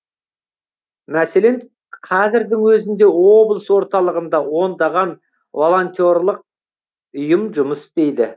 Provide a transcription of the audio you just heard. мәселен қазірдің өзінде облыс орталығында ондаған волонтерлық ұйым жұмыс істейді